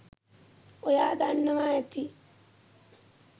ඔයා දන්නවා ඇති